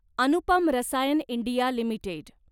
Anupam Rasayan India limited